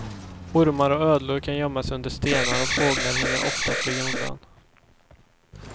Ormar och ödlor kan gömma sig under stenar, och fåglar hinner ofta flyga undan.